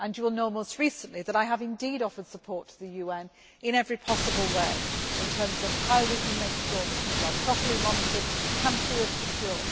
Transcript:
happen. You will know, most recently, that I have indeed offered support to the UN in every possible way, in terms of how we can make sure that people are properly monitored and can feel